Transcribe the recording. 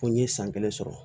Ko n ye san kelen sɔrɔ